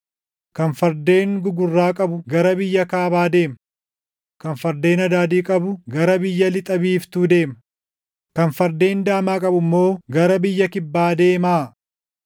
Kan fardeen gugurraa qabu gara biyya kaabaa deema; kan fardeen adaadii qabu gara biyya lixa biiftuu deema; kan fardeen daamaa qabu immoo gara biyya kibbaa deemaa.”